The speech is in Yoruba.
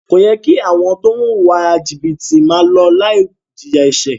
Kò yẹ kí àwọn tó ń wùwà jìbìtì máa lọ láì jìyà ẹ̀ṣẹ̀.